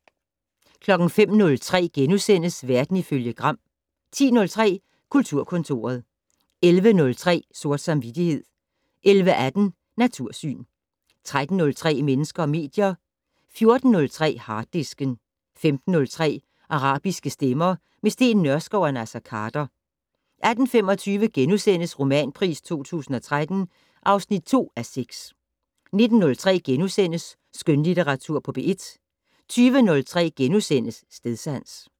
05:03: Verden ifølge Gram * 10:03: Kulturkontoret 11:03: Sort samvittighed 11:18: Natursyn 13:03: Mennesker og medier 14:03: Harddisken 15:03: Arabiske stemmer - med Steen Nørskov og Naser Khader 18:25: Romanpris 2013 (2:6)* 19:03: Skønlitteratur på P1 * 20:03: Stedsans *